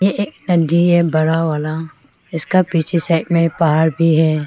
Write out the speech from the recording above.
एक है बड़ा वाला इसका पीछे साइड में पहाड़ भी है।